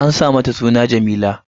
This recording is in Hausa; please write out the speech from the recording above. An sa mata suna Jameela